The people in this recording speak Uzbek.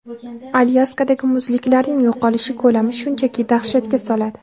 Alyaskadagi muzliklarning yo‘qolishi ko‘lami shunchaki dahshatga soladi.